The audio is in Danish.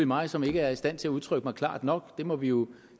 mig som ikke er i stand til at udtrykke mig klart nok og det må vi jo